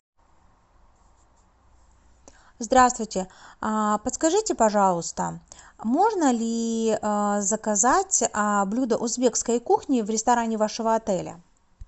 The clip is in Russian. здравствуйте подскажите пожалуйста можно ли заказать блюдо узбекской кухни в ресторане вашего отеля